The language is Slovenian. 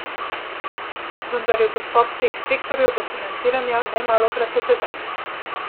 Vendar je dostop teh sektorjev do financiranja nemalokrat otežen.